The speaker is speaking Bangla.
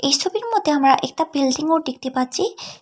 এই ছবির মধ্যে আমরা একটি বিল্ডিংও দেখতে পাচ্ছি।